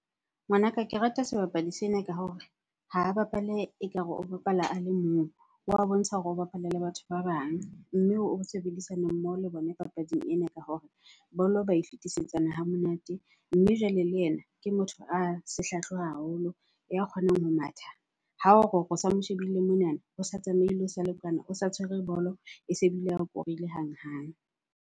Ngwanaka, ke rata sebapadi sena ka hore ha a bapale ekare o bapala a le mong. Wa bontsha hore o bapala le batho ba bang mme o sebedisana mmoho le bona papading ena ka hore bolo ba e fetisetsana hamonate. Mme jwale le ena ke motho a sehlahlo haholo, ya kgonang ho matha. Ha o re, o sa mo shebile monana, o sa tsamaile o sa le kwana. O sa tshwere bolo, e se bile a korile hanghang.